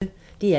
DR P1